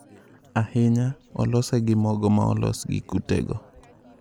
Ahinya, olose gi mogo ma olos gi kutego.